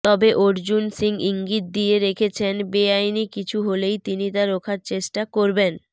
তবে অর্জুন সিং ইঙ্গিত দিয়ে রেখেছেন বেআইনি কিছু হলেই তিনি তা রোখার চেষ্টা করবেন